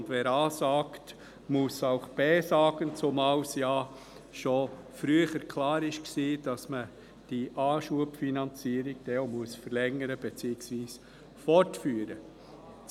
Wer A sagt, muss auch B sagen, zumal bereits früher klar war, dass man die Anschubfinanzierung verlängern beziehungsweise fortführen muss.